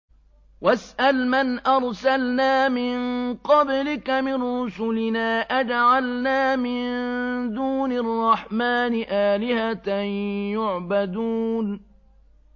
وَاسْأَلْ مَنْ أَرْسَلْنَا مِن قَبْلِكَ مِن رُّسُلِنَا أَجَعَلْنَا مِن دُونِ الرَّحْمَٰنِ آلِهَةً يُعْبَدُونَ